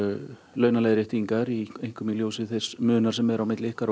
launaleiðréttingar einkum í ljósi þess munar sem er á milli ykkar